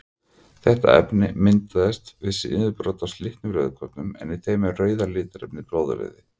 Þetta efni myndast við niðurbrot á slitnum rauðkornum en í þeim er rauða litarefnið blóðrauði.